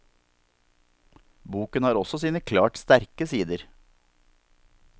Boken har også sine klart sterke sider.